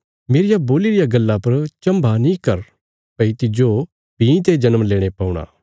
मेरिया बोल्ली रिया गल्ला पर चम्भा नीं कर भई तिज्जो दोबारा जन्म लेणे पौणा